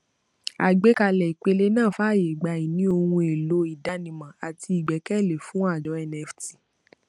àgbékalẹ ìpele náà fààyè gba ìní ohun èèlò ìdánimọ àti ìgbẹkẹlé fún àjọ nft